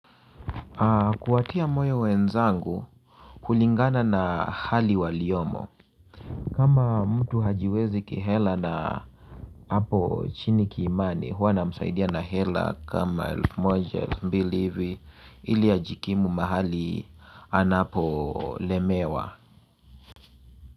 Kuwatia moyo wenzangu hulingana na hali waliomo kama mtu hajiwezi kihela na hapo chini kiimani huwa namsaidia na hela kama elfu moja elfu mbili hivi ili ajikimu mahali anapolemewa.